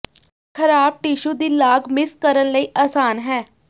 ਖਰਾਬ ਟਿਸ਼ੂ ਦੀ ਲਾਗ ਮਿਸ ਕਰਨ ਲਈ ਆਸਾਨ ਹੈ